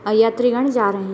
और यात्रीगण जा रहें --